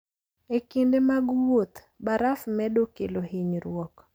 E kinde mag wuoth, baraf medo kelo hinyruok.